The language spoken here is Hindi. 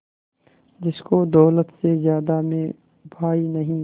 जिसको दौलत से ज्यादा मैं भाई नहीं